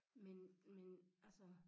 Men men altså